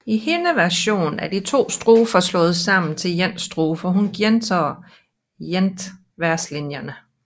I hendes version er to strofer slået sammen til en strofe og hun gentager ikke verselinjerne